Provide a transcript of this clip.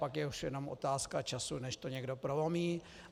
Pak je ovšem jenom otázka času, než to někdo prolomí.